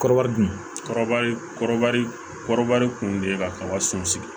Kɔrɔba dun kɔrɔbali kɔrɔba kun de ye ka kaba sun sigi